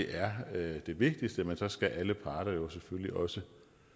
er det vigtigste men så skal alle parter jo selvfølgelig også